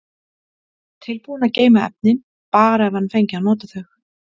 Tilbúinn að geyma efnin, bara ef hann fengi að nota þau.